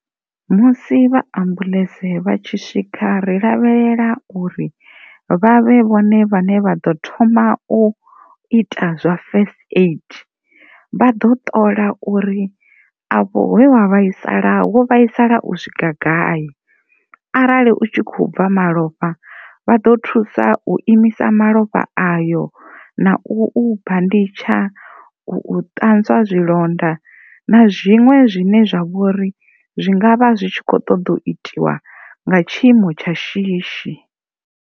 Musi vha ambuḽentse vha tshi swika ri lavhelela uri vha vhe vhone vhane vh ḓo thoma u ita zwa first aid vha ḓo ṱola uri afho he wa vhaisala wo vhaisala u swika gai arali u tshi kho bva malofha vha ḓo thusa u imisa malofha ayo na u u banditsha, u u ṱanzwa zwilonda na zwiṅwe zwine zwi vhori zwi ngavha zwi kho ṱoḓa u itiwa nga tshiimo tsha shishi.